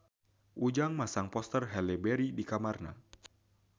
Ujang masang poster Halle Berry di kamarna